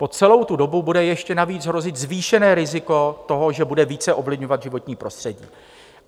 Po celou tu dobu bude ještě navíc hrozit zvýšené riziko toho, že bude více ovlivňovat životní prostředí.